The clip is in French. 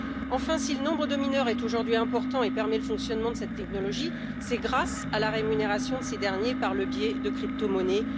Enfin, si le nombre de mineurs est aujourd'hui important et permet le fonctionnement de cette technologie, c'est grâce à la rémunération de ceux ci par le biais de cryptomonnaies.